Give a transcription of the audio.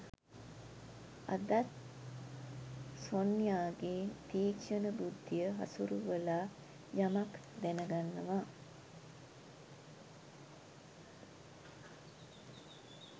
අදත් සොන්යාගේ තික්ෂණ බුද්ධිය හසුරවලා යමක් දැනගන්නවා